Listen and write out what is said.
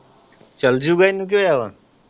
ਚੱਲ ਜੂਗਾ ਇਹਨੂੰ ਕੀ ਹੋਇਆ ਹੈ।